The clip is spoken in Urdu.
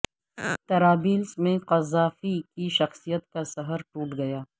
طرابلس میں قذافی کی شخصیت کا سحر ٹوٹ گیا